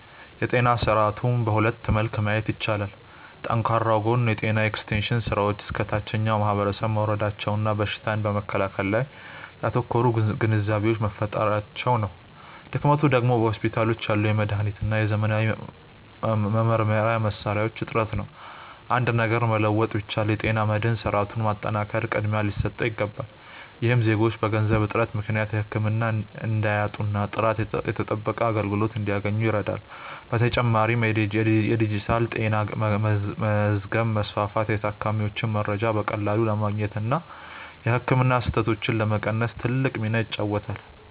የጤና ስርዓቱን በሁለት መልክ ማየት ይቻላል። ጠንካራው ጎን የጤና ኤክስቴንሽን ስራዎች እስከ ታችኛው ማህበረሰብ መውረዳቸውና በሽታን በመከላከል ላይ ያተኮሩ ግንዛቤዎች መፈጠራቸው ነው። ድክመቱ ደግሞ በሆስፒታሎች ያለው የመድኃኒትና የዘመናዊ መመርመሪያ መሣሪያዎች እጥረት ነው። አንድ ነገር መለወጥ ቢቻል፣ የጤና መድህን ስርዓቱን ማጠናከር ቅድሚያ ሊሰጠው ይገባል። ይህም ዜጎች በገንዘብ እጥረት ምክንያት ህክምና እንዳያጡና ጥራቱ የተጠበቀ አገልግሎት እንዲያገኙ ይረዳል። በተጨማሪም የዲጂታል ጤና መዝገብ ማስፋፋት የታካሚዎችን መረጃ በቀላሉ ለማግኘትና የህክምና ስህተቶችን ለመቀነስ ትልቅ ሚና ይጫወታል።